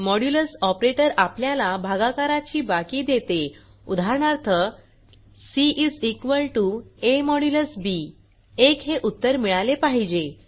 modulus operator आपल्याला भागाकाराची बाकी देते उदाहरणार्थ सी a बी 1 हे उत्तर मिळाले पाहिजे